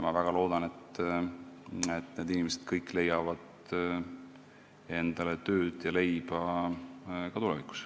Ma väga loodan, et need inimesed leiavad kõik endale tööd ja leiba ka tulevikus.